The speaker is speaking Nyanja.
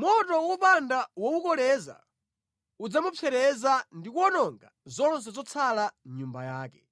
Moto wopanda wowukoleza udzamupsereza ndi kuwononga zonse zotsala mʼnyumba yake.